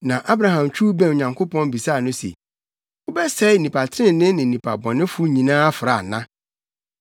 Na Abraham twiw bɛn Onyankopɔn bisaa no se, “Wobɛsɛe nnipa trenee ne nnipa bɔnefo nyinaa afra ana?